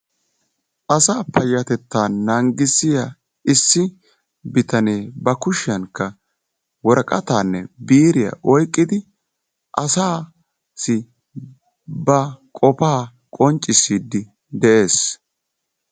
Asa payyatetta nanggissiya issi bitanee ba kushiyaankka woraqqatanne biiriyaa oyqqidi asassi ba qofaa qonccisside de'ees.